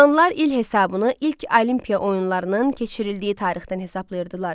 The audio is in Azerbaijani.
Yunanlılar il hesabını ilk Olimpiya oyunlarının keçirildiyi tarixdən hesablayırdılar.